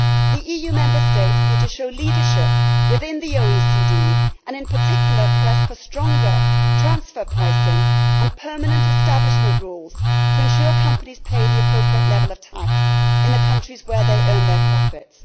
The Member States need to show leadership within the OECD and in particular press for stronger transfer pricing and permanent establishment rules to ensure companies pay the appropriate level of tax in the countries where they earn their profits.